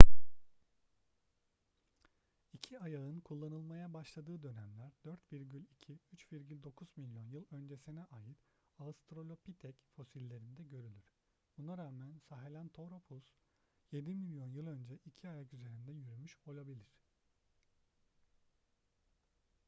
i̇ki ayağın kullanılmaya başladığı dönemler 4,2-3,9 milyon yıl öncesine ait australopitek fosillerinde görülür. buna rağmen sahelanthropus yedi milyon yıl önce iki ayak üzerinde yürümüş olabilir